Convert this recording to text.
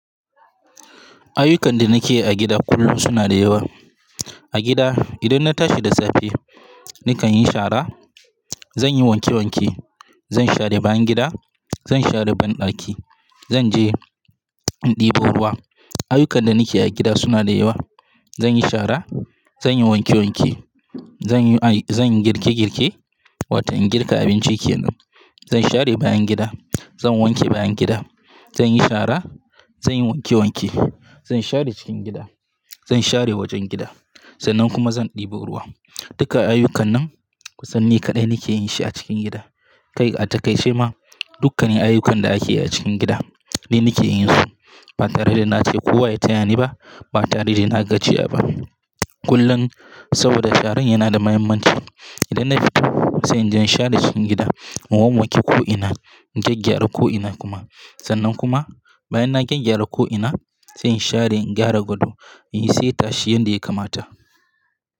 Ayyukan da nake yi a gida kullum suna da yawa. A gida idan na tashi da safe, nakan yi shara, zan yi wanke wanke, zan share bayan gida, zan share banɗaki, zan je in ɗebo ruwa. Ayyukan da nake yi a gida suna da yawa. Zan yi shara, zan yi wanke wanke, zan yi, ai zan girke girke, watan girka abinci kenan. Zan share bayan gida, zan wanke bayan gida, zan yi shara, zan yi wanke wanke, zan share cikin gida, zan share wajen gida sannan kuma zan ɗebo ruwa. Dukkan ayyukan nan kusan ni kaɗai nake yin shi a cikin gida. Kai, a takaice ma dukkane ayyukan da ake yi a cikin gida dai nake yin su. Ba tare da na ce kowa ya taya ni ba, ba tare da na gajiya ba. Kullum saboda sharan yana da muhimmanci. Idan na fito sai zan share cikin gida, in wowwanke ko'ina, in gyaggyara ko'ina kuma. Sannan kuma bayan na gyaggyara ko'ina, sai in share in gyara gado in sayi tashi yanda ya kamata.